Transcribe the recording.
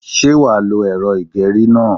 Sé wàá lo èrọ ìgerí náà?